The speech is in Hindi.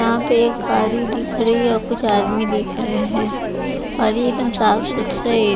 यहाँ पे गाड़ी दिख रही है और कुछ आदमी दिख रहे हैं और एकदम साफ सुथरे--